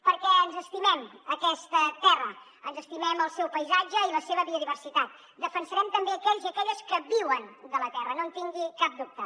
perquè ens estimem aquesta terra ens estimem el seu paisatge i la seva biodiversitat defensarem també aquells i aquelles que viuen de la terra no en tingui cap dubte